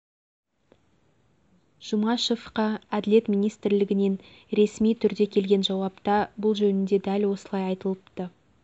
жұмашевқа әділет министрлігінен реси түрде келген жауапта бұл жөнінде дәл осылай айтылыпты